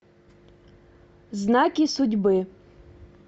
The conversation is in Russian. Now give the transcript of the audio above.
знаки судьбы